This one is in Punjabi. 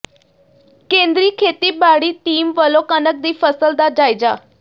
ਕੇਂਦਰੀ ਖੇਤੀਬਾਡ਼ੀ ਟੀਮ ਵੱਲੋਂ ਕਣਕ ਦੀ ਫਸਲ ਦਾ ਜਾਇਜ਼ਾ